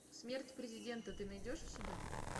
смерть президента ты найдешь у себя